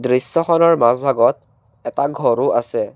দৃশ্যখনৰ মাজভাগত এটা ঘৰো আছে।